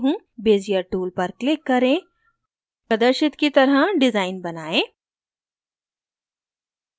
bezier tool पर click करें प्रदर्शित की तरह डिज़ाइन बनाएं